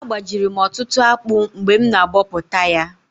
Agbajiri m ọtụtụ akpụ mgbe m na abọpụta ya